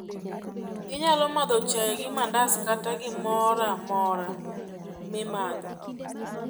Inyalo madho chai gi mandas kata gimoramora mi madho